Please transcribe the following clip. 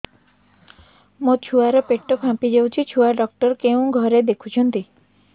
ମୋ ଛୁଆ ର ପେଟ ଫାମ୍ପି ଯାଉଛି ଛୁଆ ଡକ୍ଟର କେଉଁ ଘରେ ଦେଖୁ ଛନ୍ତି